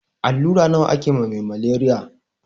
Allura nawa ake ma me maleriya?